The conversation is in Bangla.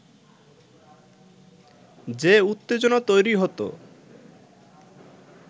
যে উত্তেজনা তৈরি হতো